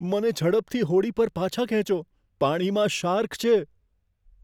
મને ઝડપથી હોડી પર પાછા ખેંચો, પાણીમાં શાર્ક છે.